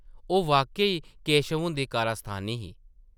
ओह् वाक्या-ई केशव हुंदी कारस्तानी ही ।